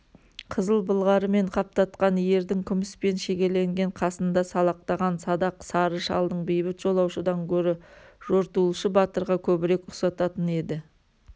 қызыл былғарымен қаптатқан ердің күміспен шегеленген қасында салақтаған садақ-сары шалдың бейбіт жолаушыдан гөрі жортуылшы батырға көбірек ұқсататын еді